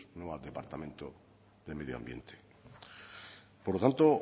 no al departamento de medio ambiente por lo tanto